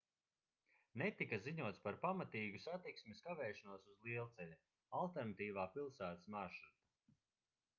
netika ziņots par pamatīgu satiksmes kavēšanos uz lielceļa alternatīvā pilsētas maršruta